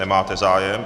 Nemáte zájem.